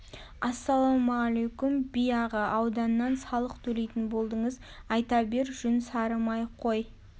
ассалаумалейкум би аға ауданнан салық төлейтін болдыңыз айта бер жүн сарымай қой